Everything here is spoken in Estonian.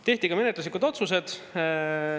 Tehti ka menetluslikud otsused.